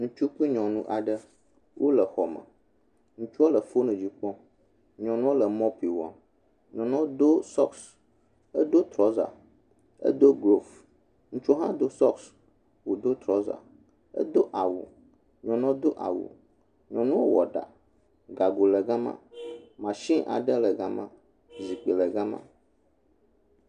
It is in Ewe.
Ŋutsu kple nyɔnu aɖe, wole xɔme. Ŋutsua le fonu dzi kpɔm, nyɔnua le mɔɔpi wɔm. Nyɔnua do sɔksi, edo trɔza, edo glovsi, ŋutsua hã do sɔksi, wòdo trɔza, edo awu, nyɔnua do awu, nyɔnua wɔ ɖa. Gago le gama, mashini aɖe le gama, zikpi le gama.